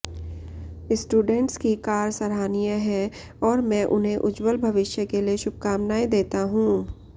students की कार सराहनीय है और मैं उन्हें उज्जवल भविष्य के लिए शुभकामनाएं देता हूं